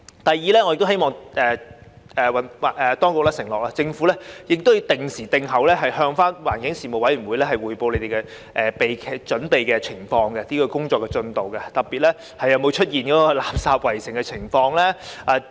第二，我亦希望當局承諾會定期向環境事務委員會匯報準備期內各項工作的進度，特別是有否出現"垃圾圍城"的情況。